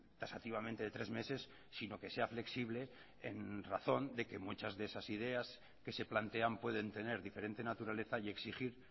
taxativamente de tres meses sino que sea flexible en razón de que muchas de esas ideas que se plantean pueden tener diferente naturaleza y exigir